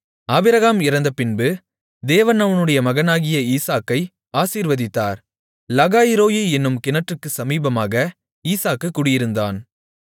Abraham இறந்தபின்பு தேவன் அவனுடைய மகனாகிய ஈசாக்கை ஆசீர்வதித்தார் லகாய்ரோயீ என்னும் கிணற்றுக்குச் சமீபமாக ஈசாக்கு குடியிருந்தான்